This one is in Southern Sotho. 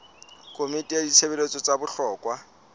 komiting ya ditshebeletso tsa bohlokwa